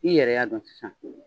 I yɛrɛ y'a dɔn sisan.